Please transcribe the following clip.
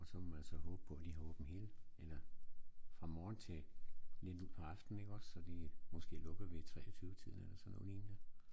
Og så må man så håbe på de har åbent hele eller fra morgen til lidt ud på aftenen ik også så de måske lukker ved 23 tiden eller sådan noget lignende